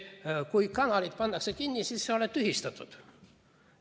Kui kanalid pannakse kinni, siis sa oled tühistatud.